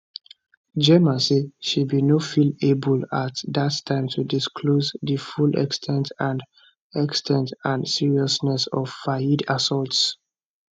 gemma say she bin no feel able at dat time to disclose di full ex ten t and ex ten t and seriousness of fayed assaults